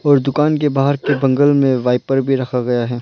और दुकान के बाहर के बगल में वाइपर भी रखा गया है।